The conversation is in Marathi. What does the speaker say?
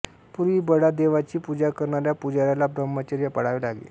पूर्वी बडा देवाची पूजा करणाऱ्या पुजाऱ्याला ब्रह्मचर्य पाळावे लागे